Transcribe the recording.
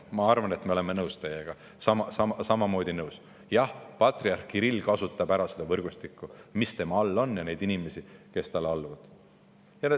Ma arvan, et me oleme teiega, samamoodi nõus: jah, patriarh Kirill kasutab ära seda võrgustikku, mis tema on, ja neid inimesi, kes talle alluvad.